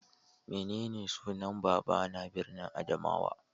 Menene sunan babban birnin Adamawa?